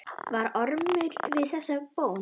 Varð Ormur við þessari bón.